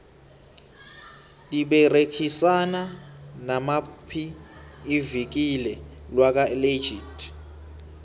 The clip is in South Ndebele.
liberegisana namaphi ivikile lakwa legit